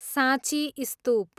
साँची स्तुप